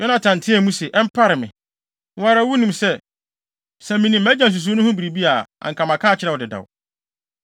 Yonatan teɛɛ mu se, “Ɛmpare me! Wo ara wunim sɛ, sɛ minim mʼagya nsusuwii no ho biribi a, anka maka akyerɛ wo dedaw.”